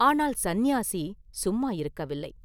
ஆனால் சந்நியாசி சும்மா இருக்கவில்லை.